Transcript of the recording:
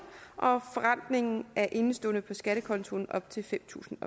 og forrentningen af indeståender på skattekontoen op til fem tusind